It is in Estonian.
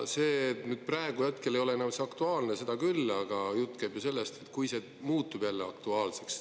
Hetkel ei ole see enam aktuaalne, seda küll, aga jutt käib ju sellest, kui see muutub jälle aktuaalseks.